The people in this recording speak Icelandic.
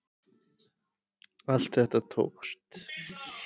Allt þetta tókst.